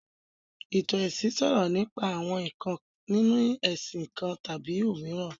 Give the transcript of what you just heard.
Ìtàn ẹ̀sìn sọ̀rọ̀ nípa àwọn ǹkan nínu ẹ̀sìn kan tàbí òmíràn